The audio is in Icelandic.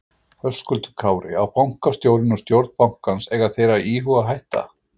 Höskuldur Kári: Á bankastjórinn og stjórn bankans, eiga þeir að íhuga að hætta?